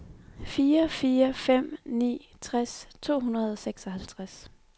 fire fire fem ni tres to hundrede og seksoghalvtreds